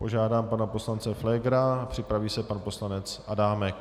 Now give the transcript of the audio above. Požádám pana poslance Pflégera, připraví se pan poslanec Adámek.